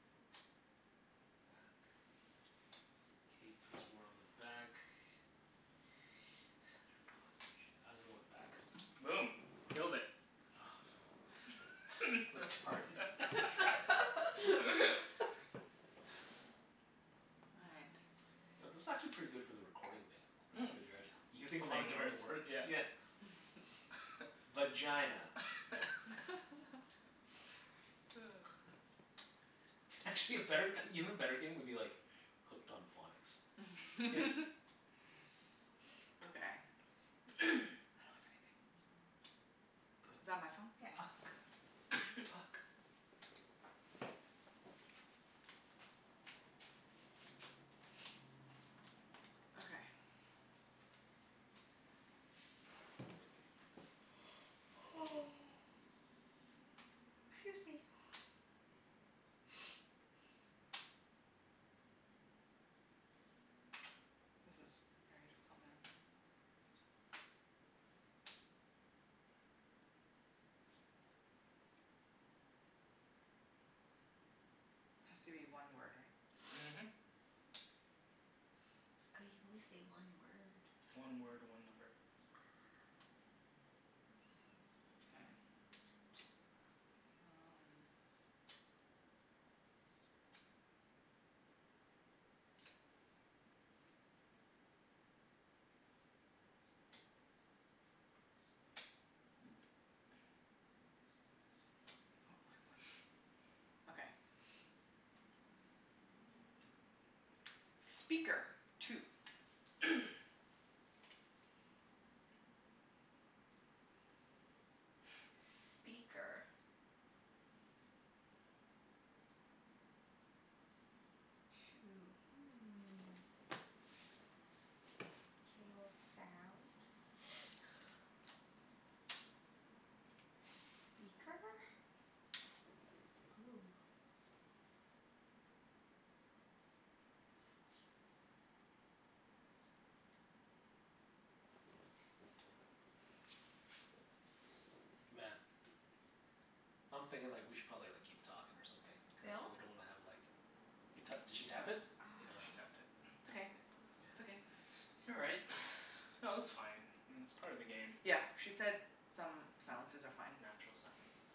Note. Bat. Cape is worn on the back. I'm gonna go with back. Boom. Killed it. Retarded. All right. You know, this is actually pretty good for the recording thing. Right? Cuz you're actu- you're saying a lot of Saying different words? words. Yeah. Yeah. Vagina. Actually, a better, even better game would be like Hooked on Phonics. Okay. I don't have anything. P- Is that my phone? Yeah. Oops. uck. Puck. Okay. Excuse me. This is very difficult now. Has to be one word, right? Mhm. Oh, you can only say one word. One word, one number. Ah. K. Um Oh, I have one. Okay. Speaker. Two. Speaker. Two. Hmm. K, well, sound. Speaker? Hoo. Man. I'm thinking like we should probably like keep talking or something, cuz Phil? we don't wanna have like You to- did she tap it? Ah. Yeah, she tapped it. It's okay. K. It's okay. Yeah. All right. No, that's fine. It's part of the game. Yep. She said some silences are fine. Natural silences.